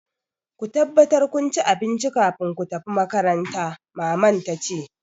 Ku tabbatar kun ci abinci kafin ku tafi makaranta! Maman ta ce.